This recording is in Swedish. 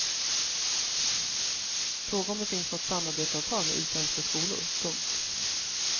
Fråga om det finns något samarbetsavtal med utländska skolor. punkt